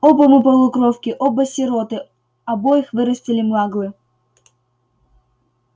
оба мы полукровки оба сироты обоих вырастили маглы